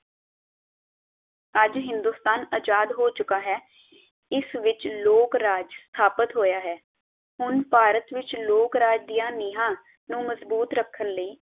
ਅੱਜ ਹਿੰਦੁਸਤਾਨ ਆਜ਼ਾਦ ਹੋ ਚੁਕਾ ਹੈ ਇਸ ਵਿਚ ਲੋਕ ਰਾਜ ਸਥਾਪਤ ਹੋਇਆ ਹੈ ਹੁਣ ਭਾਰਤ ਵਿਚ ਲੋਕ ਰਾਜ ਦੀਆਂ ਨੀਹਾਂ ਨੂੰ ਮਜਬੂਤ ਰੱਖਣ ਲਈ।